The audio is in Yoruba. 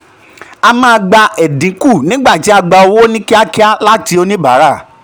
a maa gba edinku nigba ti a gba owo ni kiakia lati onibara.